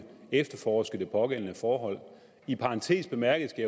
efterforske det pågældende forhold i parentes bemærket skal